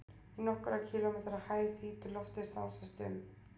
Í nokkurra kílómetra hæð þýtur loftið stanslaust um.